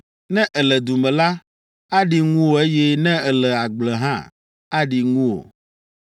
Ne èle du me la, aɖi ŋuwò eye ne èle agble hã, aɖi ŋuwò.